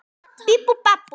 Ég fann sjálfan mig.